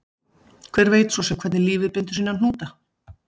Hver veit svo sem hvernig lífið bindur sína hnúta